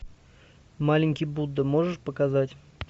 маленький будда можешь показать